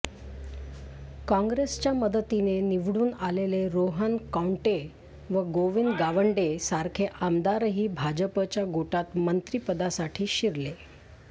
काँग्रेसच्या मदतीने निवडून आलेले रोहन कौंटे व गोविंद गावडेंसारखे आमदारही भाजपच्या गोटात मंत्रीपदासाठी शिरले